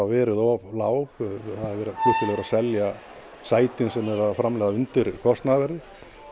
verið of lág flugfélög eru að selja sætin sem þau eru að framleiða undir kostnaðarverði